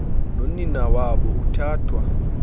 nonina wabo uthathwa